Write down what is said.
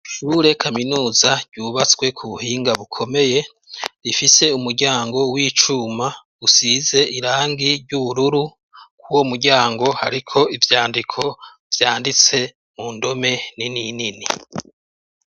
Ishure kaminuza ryubatswe ku buhinga bukomeye rifise umuryango w'icuma usize irangi ry'ubururu ku wo muryango ariko ibyandiko byanditse mu ndome nininini.